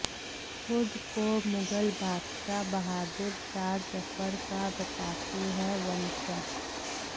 खुद को मुगल बादशाह बहादुर शाह जफर का बताते हैं वंशज